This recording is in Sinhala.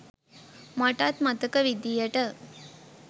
මටත් මතක විදිහට.